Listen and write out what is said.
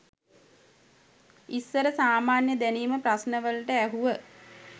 ඉස්සර සාමාන්‍ය දැනිම ප්‍රශ්ණවලට ඇහුව